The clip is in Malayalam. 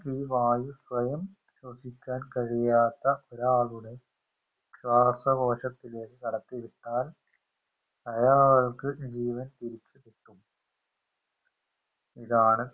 ഈ വായു സ്വയം ശ്വസിക്കാൻ കഴിയാത്ത ഒരാളുടെ ശ്വാസകോശത്തിലേക്ക് കടത്തി വിട്ടാൽ അയാൾക്ക് ജീവൻ തിരിച് കിട്ടും ഇതാണ്